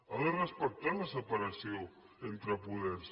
ha de respectar la separació entre poders